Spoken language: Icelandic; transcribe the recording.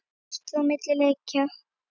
Kosið á milli leikja?